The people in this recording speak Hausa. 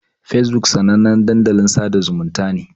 Fesbuk sanannen dandalin sada zumunta ne.